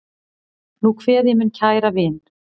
Nú kveð ég minn kæra vin.